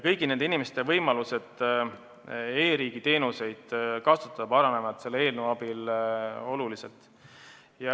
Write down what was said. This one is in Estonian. Kõigi nende inimeste võimalused e-riigi teenuseid kasutada paranevad selle eelnõu abil oluliselt.